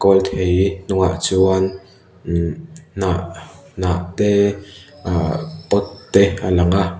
kawlthei hnungah chuan uhhh hnah hnah te ahh pot te a lang a--